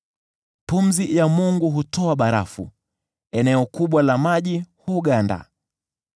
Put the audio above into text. Pumzi ya Mungu hutoa barafu, eneo kubwa la maji huganda.